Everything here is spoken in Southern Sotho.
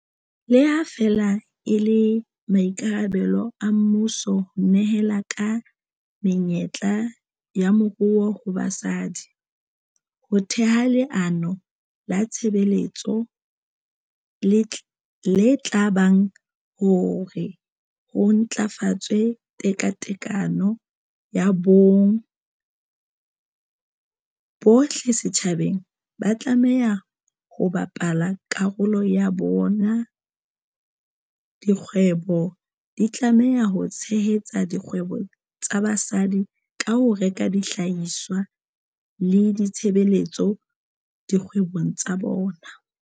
Le ha feela e le maikarabelo a mmuso ho nehela ka menyetla ya moruo ho basadi ho theha leano la tshebetso le tla bakang hore ho ntlafatswe tekatekano ya bong, bohle setjhabeng ba tlameha ho bapala karolo ya bona. Dikgwebo di tlameha ho tshehetsa dikgwebo tsa basadi ka ho reka dihlahiswa le ditshebeletso dikgwebong tsa bona.